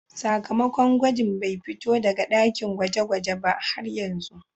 Sakamakon gwajin bai fito daga dakin gweje-gwaje ba har yanzu.